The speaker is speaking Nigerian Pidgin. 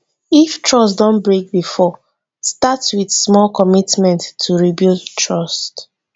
if trust don break before start with small commitment to rebuild trust